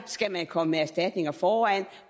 skal komme med erstatninger foran